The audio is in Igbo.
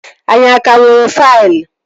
Anyị a ka nwere faịlụ?